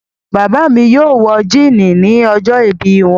Bàbá mi yóò wọ jíínì ni ọjọ́ọ̀bí wọn.